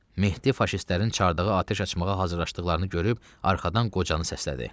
Mehdi faşistlərin çardağa atəş açmağa hazırlaşdıqlarını görüb arxadan qocanı səslədi.